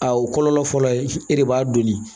A o kɔlɔlɔ fɔlɔ ye e de b'a donni